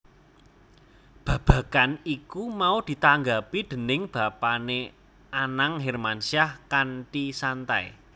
Babagan iku mau ditanggapi déning bapané Anang Hermansyah kanthi santai